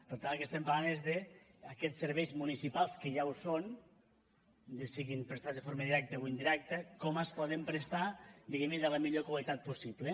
per tant del que estem parlant és d’aquests serveis municipals que ja ho són bé siguin prestats de forma directa o indirecta com es poden prestar diguem ne i de la millor qualitat possible